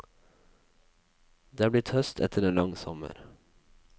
Det er blitt høst etter en lang sommer.